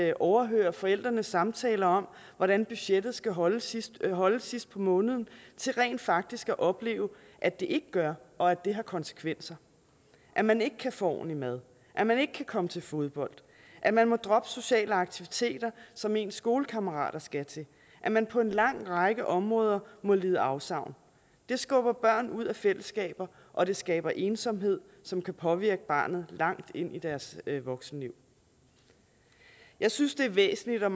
at overhøre forældrenes samtaler om hvordan budgettet skal holde sidst holde sidst på måneden til rent faktisk opleve at det ikke gør og at det har konsekvenser at man ikke kan få ordentlig mad at man ikke kan komme til fodbold at man må droppe sociale aktiviteter som ens skolekammerater skal til at man på en lang række områder må lide afsavn det skubber børn ud af fællesskaber og det skaber ensomhed som kan påvirke barnet langt ind i deres voksenliv jeg synes det er væsentligt og